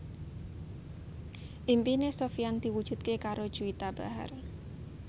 impine Sofyan diwujudke karo Juwita Bahar